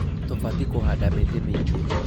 Tũbatie kũhanda mĩtĩĩ mĩingĩ